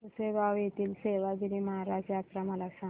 पुसेगांव येथील सेवागीरी महाराज यात्रा मला सांग